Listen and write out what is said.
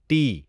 T